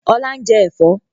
Ọlá ń jẹ́ Ẹ̀fọ́.